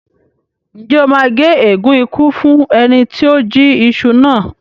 Ǹjẹ́ o máa gé ègún ikú fún ẹni tí ó jí iṣu náà?